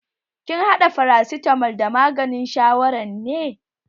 Kin haɗa farasitamol da maganin shawaran ne?